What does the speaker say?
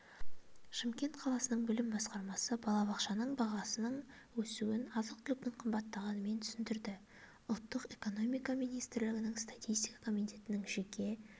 шымкент қаласының білім басқармасы балабақшаның бағасының өсуін азық-түліктің қымбаттағанымен түсіндірді ұлттық экономика министрлігінің статистика комитетінің жеке